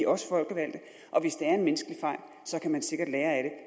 også folkevalgte og hvis det er en menneskelig fejl så kan man sikkert lære af den